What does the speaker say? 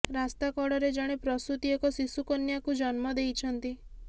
ରାସ୍ତା କଡରେ ଜଣେ ପ୍ରସୂତି ଏକ ଶିଶୁକନ୍ୟାକୁ ଜନ୍ମ ଦେଇଛନ୍ତି